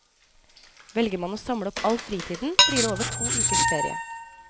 Velger man å samle opp all fritiden blir det over to ukers ferie.